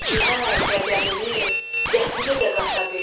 Gücünə, qəzəbini, zəhmini də qata bil.